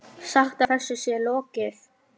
Sagt að þessu sé lokið.